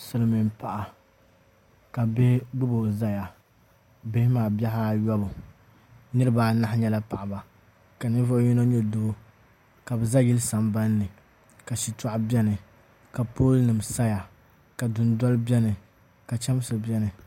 Silmiin paɣa ka bihi gbubo ʒɛya bihi maa bihi ayobu niraba anahi nyɛla paɣaba ka ninvuɣu yino nyɛ doo ka bi za yili sambanni ka shitɔɣu biɛni ka pool nim saya ka dundoli biɛni ka chɛmsi biɛni